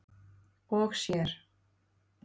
og sér.